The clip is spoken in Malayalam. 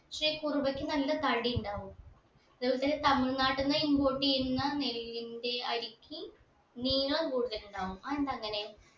പക്ഷെ കുറുവക്ക് നല്ല തടിയുണ്ടാവും അതെ പോലെ തന്നെ തമിഴ് നാട്ടീന്ന് import ചെയ്യുന്ന നെല്ലിന്റെ അരിക്ക് നീളം കൂടുതലുണ്ടാവും അതെന്താ അങ്ങനെ